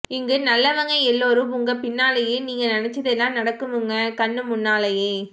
இங்கு நல்லவங்க எல்லோரும் உங்க பின்னாலே நீங்க நெனச்சதெல்லாம் நடக்குமுங்கோ கண்ணுமுன்னாலே